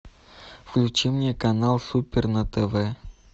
включи мне канал супер на тв